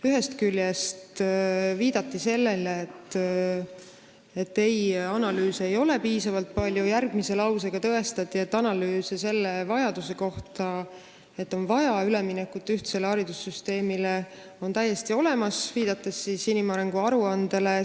Ühest küljest viidati sellele, et analüüse ei ole piisavalt palju, järgmise lausega tõestati, et analüüsid selle kohta, et on vaja üle minna ühtsele haridussüsteemile, on täiesti olemas, viidates inimarengu aruandele.